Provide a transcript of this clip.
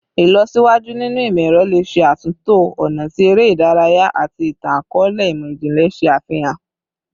Ilọsiwaju ninu imọ-ẹrọ le ṣe atunto ọna ti ere idaraya ati itan-akọọlẹ imọ-jinlẹ ṣe afihan